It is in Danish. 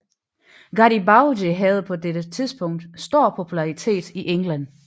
Garribaldi havde på dette tidspunkt stor popularitet i England